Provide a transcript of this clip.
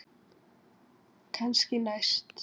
Kannski næst?